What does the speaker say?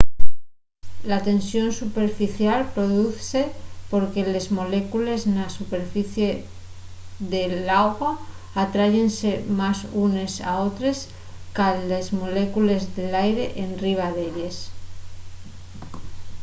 la tensión superficial produzse porque les molécules na superficie de l'agua atráyense más unes a otres qu'a les molécules d’aire enriba d’elles